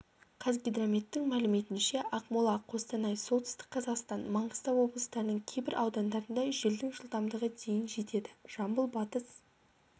қазгидрометтің мәліметінше ақмола қостанай солтүстік қазақстан маңғыстау облыстарының кейбір аудандарында желдің жылдамдығы дейін жетеді жамбыл батыс